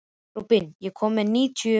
Rúben, ég kom með níutíu húfur!